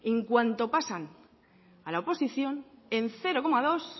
en cuanto pasan a la oposición en cero coma dos